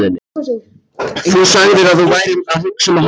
Þú sagðir að þú værir að hugsa um að hætta.